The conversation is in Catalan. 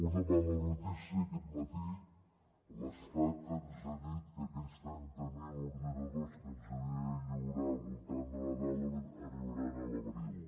una mala notícia aquest matí l’estat ens ha dit que aquells trenta mil ordinadors que ens havia de lliurar al voltant de nadal arribaran a l’abril